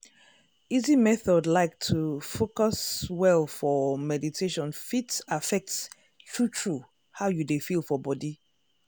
easy method like to fcus well for meditataion fit affect true true how you dey feel for body.